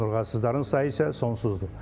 Onurğasızların sayı isə sonsuzdur.